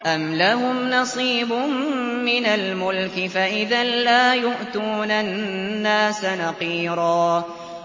أَمْ لَهُمْ نَصِيبٌ مِّنَ الْمُلْكِ فَإِذًا لَّا يُؤْتُونَ النَّاسَ نَقِيرًا